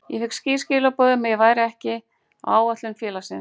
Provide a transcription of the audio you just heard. Ég fékk skýr skilaboð um að ég væri ekki áætlunum félagsins.